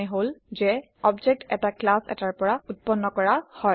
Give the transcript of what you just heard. মানে হল যে অবজেক্ট এটা ক্লাছ এটাৰ পৰা উত্পন্ন কৰা হয়